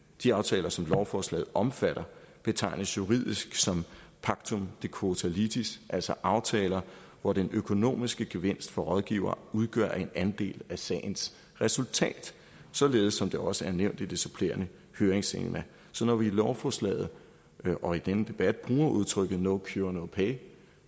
de aftaler som lovforslaget omfatter betegnes juridisk som pactum de quota litis altså aftaler hvor den økonomiske gevinst for rådgiver udgør en andel af sagens resultat således som det også er nævnt i det supplerende høringsbilag så når vi i lovforslaget og i denne debat bruger udtrykket no cure no pay